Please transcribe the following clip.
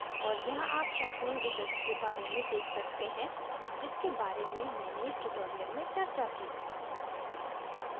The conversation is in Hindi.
और यहाँ आप sharpening इफ़ेक्ट के बारे में देख सकते हैं जिसके बारे में मैंने इस tutorial में चर्चा की